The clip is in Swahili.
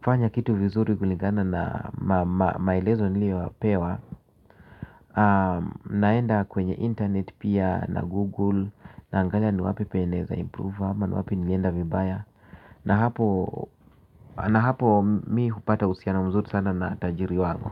fanya kitu vizuri kulingana na maelezo niliyopewa. Naenda kwenye internet pia na google. Naangalia ni wapi penye naweza improve ama ni wapi nilienda vibaya na hapo. Na hapo mi hupata uhusiano mzuri sana na tajiri wangu.